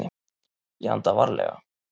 Ég anda varlega.